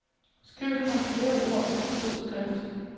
Skriv det markerede ord til fed skrift.